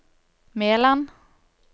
Meland